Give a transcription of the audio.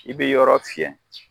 I bɛ yɔrɔ fiyɛ.